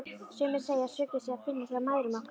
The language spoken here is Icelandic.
Sumir segja að sökina sé að finna hjá mæðrum okkar.